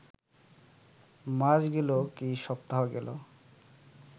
মাস গেল, কি সপ্তাহ গেল